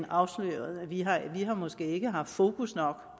afslørede vi har måske ikke haft fokus nok